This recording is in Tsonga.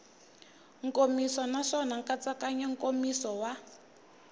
nkomiso naswona nkatsakanyo nkomiso wa